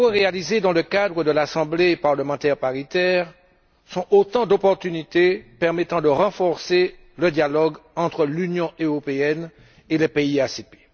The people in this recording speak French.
Les travaux réalisés dans le cadre de l'Assemblée parlementaire paritaire sont autant d'opportunité permettant de renforcer le dialogue entre l'Union européenne et les pays ACP.